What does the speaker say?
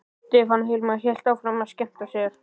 Stefán hvarf og Hilmar hélt áfram að skemmta sér.